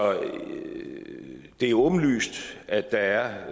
det er åbenlyst at der er